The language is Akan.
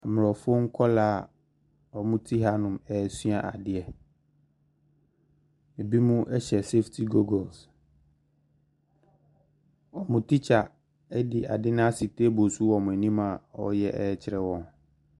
Mmorɔfo nkɔlaa a ɔmo te ha nom ɛɛsua adeɛ, ebimo ɛhyɛ sefiti gugols, ɔmo tikya ɛde ade no asi teebol so wɔ ɔmo anim a ɔɔyɛ ɛkyerɛ ɔmo.